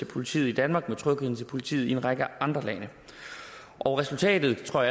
politiet i danmark med trygheden over for politiet i en række andre lande og resultatet tror